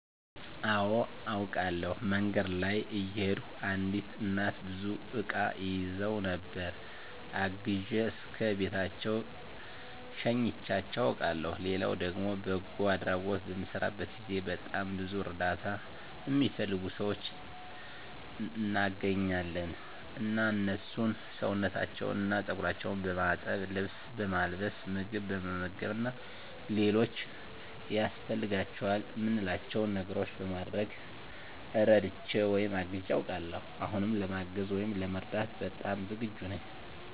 አወ አውቃለሁ። መንገድ ላይ እየሄድኩ አንዲት እናት ብዙ እቃ ይዘው ነበር እና አግዤ እስከ ቤታቸው ሸኝቻቸው አውቃለሁ ሌላው ደግሞ በጎ አድራጎት በምሰራበት ጊዜ በጣም ብዙ እርዳታ እሚፈልጉ ሰዎች እናገኛለን እና እነሱን ሰውነታቸውን እና ፀጉራቸውን በማጠብ፣ ልብስ በማልበስ፣ ምግብ በመመገብ እና ሌሎች ያስፈልጓቸዋል እምንላቸው ነገሮች በማድረግ እረድቼ ወይም አግዤ አውቃለሁ። አሁንም ለማገዝ ወይም ለመርዳት በጣም ዝግጁ ነኝ።